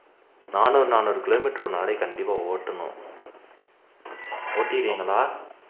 நாநூறு நாநூறு kilometer ஒரு நாளைக்கு கண்டிப்பா ஓட்டனும் ஓட்டிடுவீங்களா